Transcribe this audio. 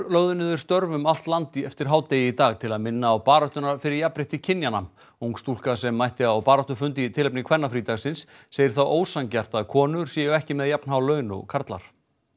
lögðu niður störf um allt land eftir hádegi í dag til þess að minna á baráttuna fyrir jafnrétti kynjanna ung stúlka sem mætti á baráttufund í tilefni kvennafrídagsins segir það ósanngjarnt að konur séu ekki með jafnhá laun og karlar